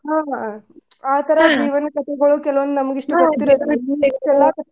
ಹಾ ವಾ ಆ ತರಾ ಜೀವನ್ ಕಥಿಗಳ್ ಕೆಲವಂದ್ ನಮ್ಗ್ ಇಷ್ಟ .